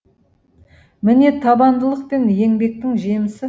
міне табандылық пен еңбектің жемісі